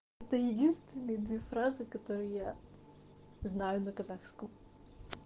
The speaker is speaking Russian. это единственные две фразы которые я знаю на казахском